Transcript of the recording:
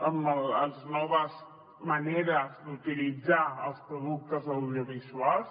amb les noves maneres d’utilitzar els productes audiovisuals